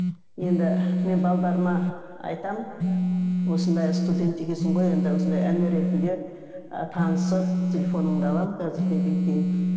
енді мен айтамын осындай студент екенсің ғой енді осындай іні ретінде ы танысып телефоныңды аламын қазір неден кейін